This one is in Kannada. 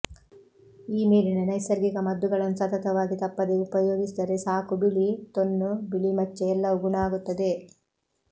ಈ ಮೇಲಿನ ನೈಸರ್ಗಿಕ ಮದ್ದುಗಳನ್ನು ಸತತವಾಗಿ ತಪ್ಪದೆ ಉಪಯೋಗಿಸಿದರೆ ಸಾಕು ಬಿಳಿ ತೊನ್ನು ಬಿಳಿ ಮಚ್ಚೆ ಎಲ್ಲವೂ ಗುಣ ಆಗುತ್ತದೆ